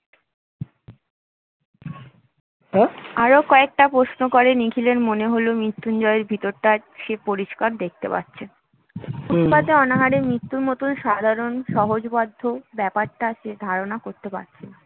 আরো কয়েকটি প্রশ্ন করে নিখিলের মনে হল, মৃত্যুঞ্জয়ের ভিতরটা সে পরিষ্কার দেখতে পাচ্ছে ফুটপাথে অনাহারে মৃত্যুর মতো সাধারণ সহজবোধ্য ব্যাপারটা সে ধারণা করতে পারছে না